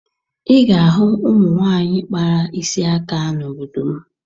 Ị ga-ahụ ụmụ nwaanyị kpara isi aka n'obodo m